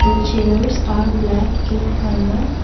the chairs are black in colour.